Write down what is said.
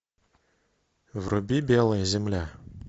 вруби белая земля